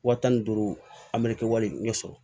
Wa tan ni duuru an bɛ kɛ wale ɲɛ sɔrɔ